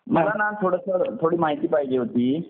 मला ना थोडंसं थोडीशी माहिती पाहिजे होती.